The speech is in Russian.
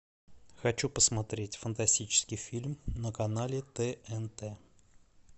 хочу посмотреть фантастический фильм на канале тнт